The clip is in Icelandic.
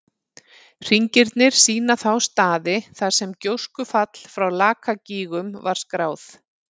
Hringirnir sýna þá staði þar sem gjóskufall frá Lakagígum var skráð.